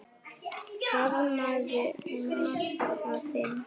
Faðmaðu maka þinn.